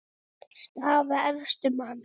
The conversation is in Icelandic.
Staða efstu manna